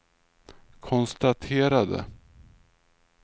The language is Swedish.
konstaterade